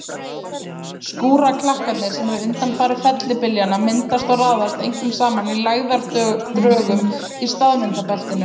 Skúraklakkarnir sem eru undanfari fellibyljanna myndast og raðast einkum saman í lægðardrögum í staðvindabeltinu.